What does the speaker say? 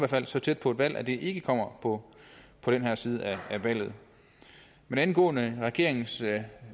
fald så tæt på et valg at det ikke kommer på den her side af valget men angående regeringens